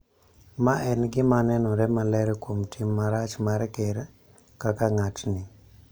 ma en gima nenore maler kuom tim marach mar Ker kaka ng�atni.